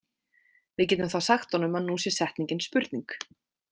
Við getum þá sagt honum að nú sé setningin spurning.